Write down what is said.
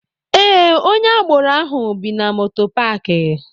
Ee, onye agboro ahụ bi na moto paaki.